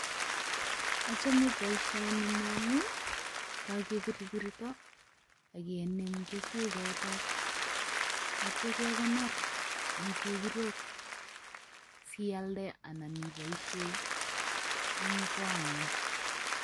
Achame boisioni amun kakebirbirto akenem keswek choton aitya kekonor en chebirok sialde anan iboisien en kong'ung.